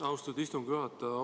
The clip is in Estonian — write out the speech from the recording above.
Austatud istungi juhataja!